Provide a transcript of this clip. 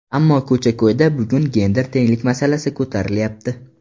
Ammo ko‘cha-ko‘yda bugun gender tenglik masalasi ko‘tarilyapti.